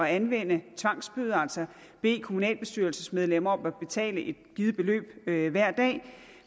anvende tvangsbøder altså bede kommunalbestyrelsesmedlemmer om at betale et givet beløb beløb hver dag